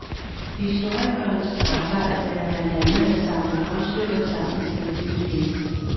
Historikerens arbejde er blandt andet at samle brudstykker sammen til et nyt hele.